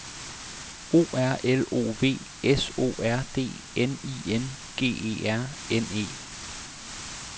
O R L O V S O R D N I N G E R N E